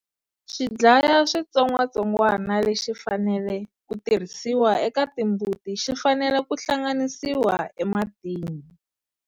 Xidlaya switsongwatsongwana lexi fanele ku tirhisiwa eka timbuti xi fanele ku hlanganisiwa ematini.